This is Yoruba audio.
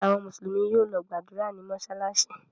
Àwọn Mùsùlùmí yóò lọ gbàdúrà ní mọ́ṣáláṣí.